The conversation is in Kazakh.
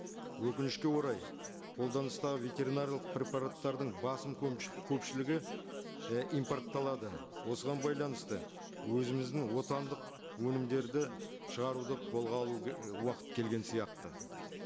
өкінішке орай қолданыстағы ветеринарлық препараттардың басым көпшілігі і импортталады осыған байланысты өзіміздің отандық өнімдерді шығаруды қолға алу і уақыт келген сияқты